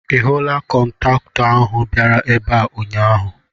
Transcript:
Ị hụla kọntaktọ ahụ bịara ebe a ụnyaahụ.?